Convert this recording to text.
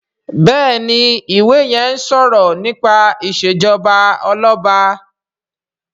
Béèni iwè yén o sọrọ nípa ìṣèjọba Ọlọba.